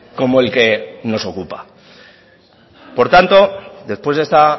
como el que nos ocupa por tanto después de esta